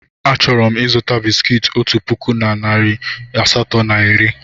Achọrọ m ịzụta bisikiiti otu puku na narị asatọ na iri.